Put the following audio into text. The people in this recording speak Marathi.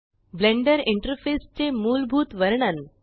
ब्लेंडर इंटरफेस चे मूलभूत वर्णन